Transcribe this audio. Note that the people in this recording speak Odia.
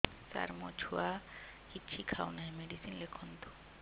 ସାର ମୋ ଛୁଆ କିଛି ଖାଉ ନାହିଁ ମେଡିସିନ ଲେଖନ୍ତୁ